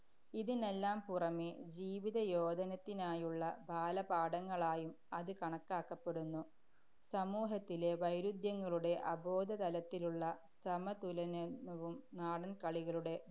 ഇതിനെല്ലാം പുറമേ ജീവിത യോധനത്തിനായുള്ള ബാലപാഠങ്ങളായും അത് കണക്കാക്കപ്പെടുന്നു. സമൂഹത്തിലെ വൈരുധ്യങ്ങളുടെ അബോധതലത്തിലുള്ള സമതുലന~ നവും നാടന്‍ കളികളുടെ